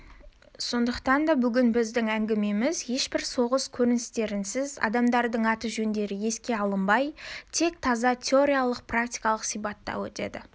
сондықтан да бүгін біздің әңгімеміз ешбір соғыс көріністерінсіз адамдардың аты-жөндері еске алынбай тек таза теориялық-практикалық сипатта өтеді